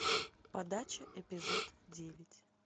подача эпизод девять